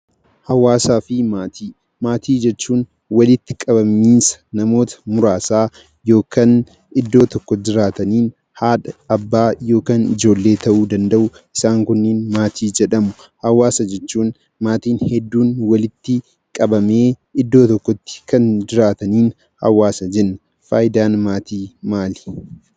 Hawaasaa fi maatii. Maatii jechuun walitti qabamiinsa namoota muraasaa yookan iddoo tokko jiraatanii haadha, abbaa yookan ijoollee ta'uu danda'u isaan kunniin maatii jedhamu. Hawaasa jechuun maatiin hedduun walitti qabamee iddoo tokkotti kan jiraataniin hawaasa jenna. Faaayidaan maatii maali?